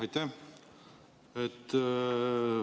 Aitäh!